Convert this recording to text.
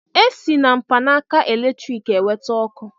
E si na mkpanaka eletriki e nweta ọkụ.